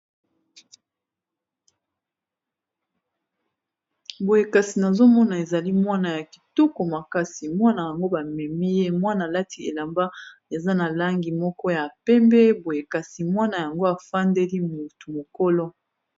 Boye kasi nazomona ezali mwana ya kitoko makasi mwana yango bamemi ye mwana lati elamba eza na langi moko ya pembe boye kasi mwana yango afandeli motu mukolo.